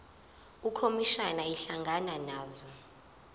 ukhomishana ehlangana nazo